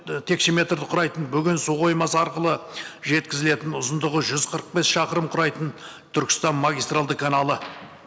ы текшеметрді құрайтын бүгін суқоймасы арқылы жеткізілетін ұзындығы жүз қырық бес шақырым құрайтын түркістан мангистральды каналы